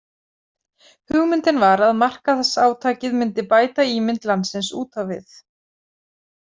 Hugmyndin var að markaðsátakið myndi bæta ímynd landsins út á við.